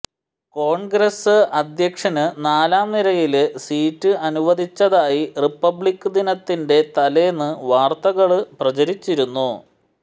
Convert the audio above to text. കോണ്ഗ്രസ് അധ്യക്ഷനു നാലാം നിരയില് സീറ്റ് അനുവദിച്ചതായി റിപ്പബ്ലിക് ദിനത്തിന്റെ തലേന്ന് വാര്ത്തകള് പ്രചരിച്ചിരുന്നു